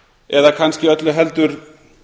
eða kannski öllu heldur